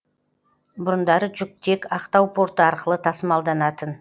бұрындары жүк тек ақтау порты арқылы тасымалданатын